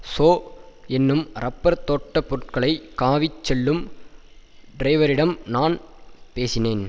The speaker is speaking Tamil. சோ என்னும் ரப்பர் தோட்ட பொருட்களை காவிச்செல்லும் டிரைவரிடம் நான் பேசினேன்